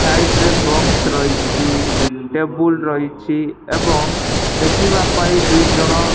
side ରେ box ରହିଛି table ରହିଛି ଏବଂ ଦେଖିବାପାଇଁ ଦୁଇଜଣ --